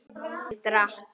Ég drakk.